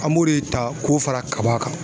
An b'o de ta k'o fara kaba kan.